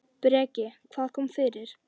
Breki: Hvað kom fyrir?